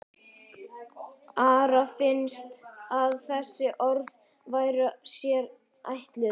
Ara fannst að þessi orð væru sér ætluð.